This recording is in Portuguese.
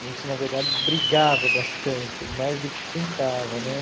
A gente, na verdade, brigava bastante, mais do que brincava, né?